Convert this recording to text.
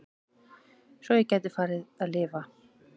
Svo ég gæti farið að lifa.